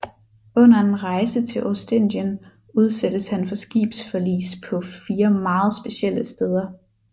Under en rejse til Ostindien udsættes han for skibsforlis på fire meget specielle steder